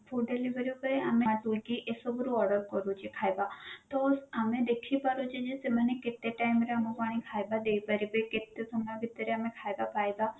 food delivery ଉପରେ ଆମେ ଆଗରୁ କି ଏସବୁ ରୁ order କରୁଛେ ଖାଇବା ତ ଆମେ ଦେଖି ପରୁଛେ ଯେ ସେମାନେ କେତେ time ରେ ଆଣିକି ଆମକୁ ଖାଇବା ଦେଇପାରିବେ କେତେ ସମୟ ଭିତରେ ଆମେ ଖାଇବା ପାଇବା